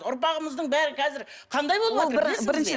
ұрпағымыздың бәрі қазір қандай болыватыр білесіз бе